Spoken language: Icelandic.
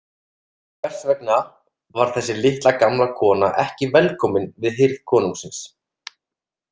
Hvers vegna var þessi litla, gamla kona ekki velkomin við hirð konungsins?